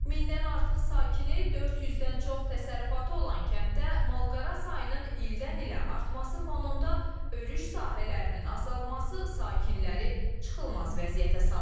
Mindən artıq sakini, 400-dən çox təsərrüfatı olan kənddə malqara sayının ildən-ilə artması fonunda örüş sahələrinin azalması sakinləri çıxılmaz vəziyyətə salıb.